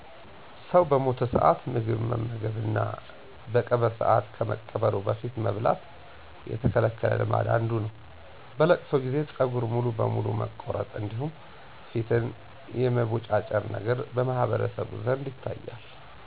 ሰው በሞተ ሰዓት ምግብ መመገብ እና በቀብር ሰዓት ከመቀበሩ በፊት መብላት የተከለከለ ልማድ አንዱ ነው። በ'ለቅሶ' ጊዜ ፀጉር ሙሉ በሙሉ መቆረጥ እንዲሁም ፊትን የመቦጫጨር ነገር በማህበረሰቡ ዘንድ ይታያል።